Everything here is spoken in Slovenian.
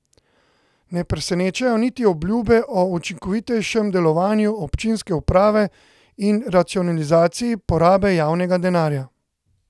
Ne presenečajo niti obljube o učinkovitejšem delovanju občinske uprave in racionalizaciji porabe javnega denarja.